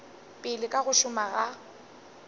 pele ka go šoma go